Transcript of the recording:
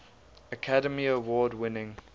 academy award winning